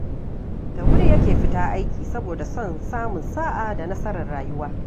Da wuri yake fita aiki saboda son samun sa'a da nasarar rayuwa